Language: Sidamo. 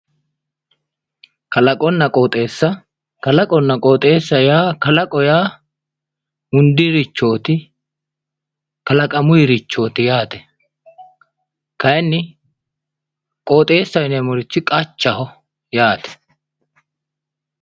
kalaqonna qooxeessa kalaqo yaa hundirichooti, kalaqamunnirichooti yaate kayiinni qooxeessaho yineemmorichi qachaho yaate.